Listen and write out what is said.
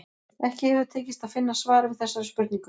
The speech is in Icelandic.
Ekki hefur tekist að finna svar við þessari spurningu.